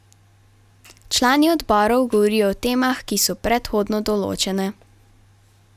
Člani odborov govorijo o temah, ki so predhodno določene.